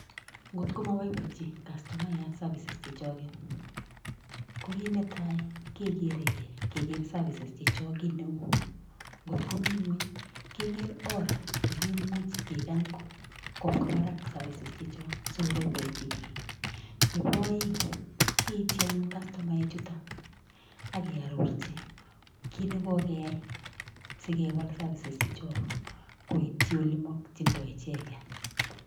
Ngotko maboiboichi kastomayat safises chechoket, ko kiit netai, kegeere ke kegeer safisies checho kiit neu, ngotko mii ingwony kegeer oor nekimuch kekany kobwaa barak safises checho sikoboiboichin biik. Nebo aeng, keiti anyuun kastomaek chuto ake arorchi kiit nekokeyai sikewal safises checho koityi ole makchindoi icheket.